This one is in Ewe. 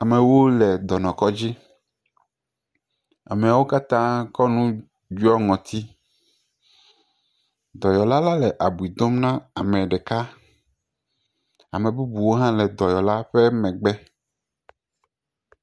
Ɖevi at aɖe le awuta. Wole abo ƒom. Ɖeviawo do awu kple godi eye wo me do afɔ kpa o. Ame bubu aɖe nɔ tsia to tututu henɔ ɖevia kpɔm do ɖa.